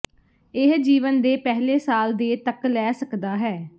ਇਹ ਜੀਵਨ ਦੇ ਪਹਿਲੇ ਸਾਲ ਦੇ ਤੱਕ ਲੈ ਸਕਦਾ ਹੈ